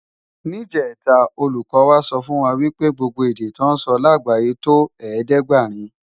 Nijètá ólúkò wá sòfúnwá wipé gbógbó èdè tò nsò lágbáyé tó ẹ̀ẹ́dẹ́ɡbarin